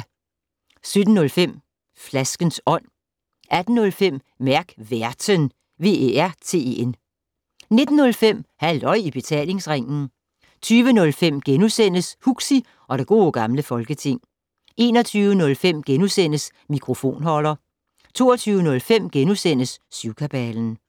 17:05: Flaskens Ånd 18:05: Mærk Værten 19:05: Halløj i Betalingsringen 20:05: Huxi og det Gode Gamle Folketing * 21:05: Mikrofonholder * 22:05: Syvkabalen *